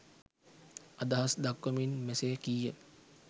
අදහස් දක්වමින් මෙසේ කීය.